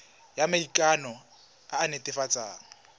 ya maikano e e netefatsang